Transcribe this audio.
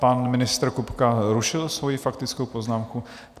Pan ministr Kupka zrušil svoji faktickou poznámku.